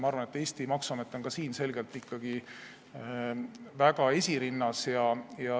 Ma arvan, et Eesti maksuamet on ka siin selgelt ikkagi esirinnas.